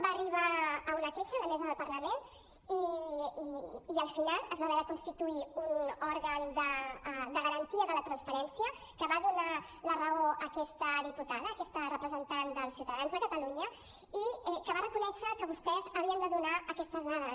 va arribar una queixa a la mesa del parlament i al final es va haver de constituir un òrgan de garantia de la transparència que va donar la raó a aquesta diputada a aquesta representant dels ciutadans de catalunya i que va reconèixer que vostès havien de donar aquestes dades